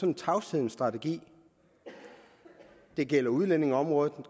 en tavshedens strategi det gælder udlændingeområdet